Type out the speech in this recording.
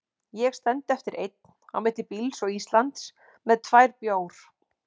Ég stend eftir einn, á milli bíls og Íslands, með tvær bjór